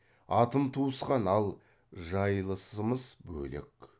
атым туысқан ал жайылысымыз бөлек